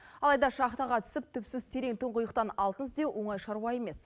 алайда шахтаға түсіп түпсіз терең тұңғиықтан алтын іздеу оңай шаруа емес